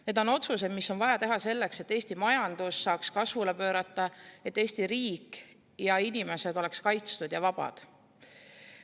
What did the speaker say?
Need otsused on vaja teha selleks, et Eesti majandus saaks kasvule pöörata, et Eesti riik ja inimesed oleksid kaitstud ja vabad.